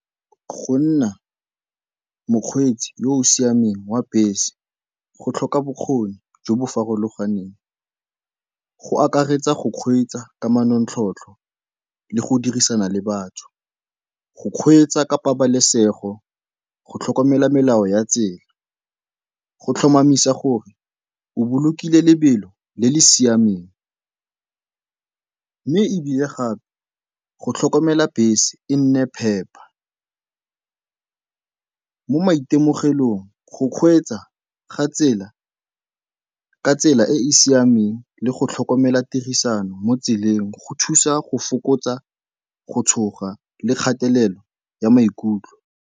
Go nna mokgweetsi yo o siameng wa bese go tlhoka bokgoni jo bo farologaneng. Go akaretsa go kgweetsa ka manontlhotlho le go dirisana le batho, go kgweetsa ka pabalesego, go tlhokomela melao ya tsela, go tlhomamisa gore o bolokile lebelo le le siameng mme ebile gape go tlhokomela bese e nne phepa. Mo maitemogelong go kgweetsa ga tsela ka tsela e e siameng le go tlhokomela tirisano mo tseleng go thusa go fokotsa go tshoga le kgatelelo ya maikutlo.